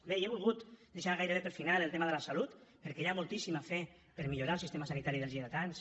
bé i he volgut deixar gairebé per al final el tema de la salut perquè hi ha moltíssima fe per millorar el sistema sanitari dels lleidatans